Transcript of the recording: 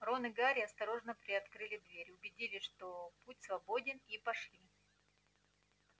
рон и гарри осторожно приоткрыли дверь убедились что путь свободен и пошли